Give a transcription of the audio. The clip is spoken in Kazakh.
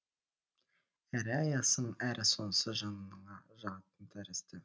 әрі аяйсың әрі сонысы жаныңа жағатын тәрізді